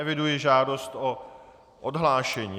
Eviduji žádost o odhlášení.